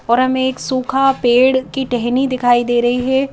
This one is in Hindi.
और हमें एक सूखा पेड़ की टहनी दिखाई दे रही है ।